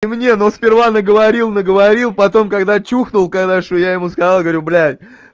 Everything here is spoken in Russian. мне но сперва наговорил наговорил потом когда чухнул хорошо я ему сказал говорю блять